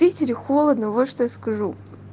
в питере холодно вот что я скажу